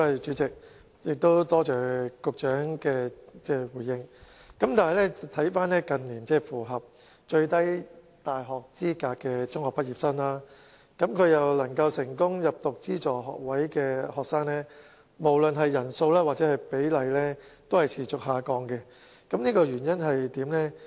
主席，多謝局長的回應，但近年符合大學最低入讀要求而又能夠成功入讀資助學士學位課程的中學畢業生，無論是人數或比例均持續下降，原因為何？